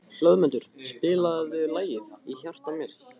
Hlöðmundur, spilaðu lagið „Í hjarta mér“.